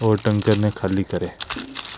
और टैंकर ने खाली करें।